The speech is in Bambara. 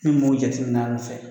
jate min'a nɔfɛ.